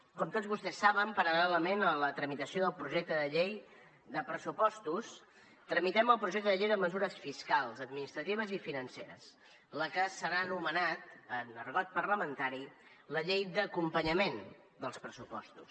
com tots vostès saben paral·lelament a la tramitació del projecte de llei de pressupostos tramitem el projecte de llei de mesures fiscals administratives i financeres la que s’ha anomenat en argot parlamentari la llei d’acompanyament dels pressupostos